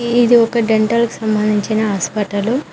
ఇది ఒక డెంటల్ కి సంబంధించిన హాస్పిటలు .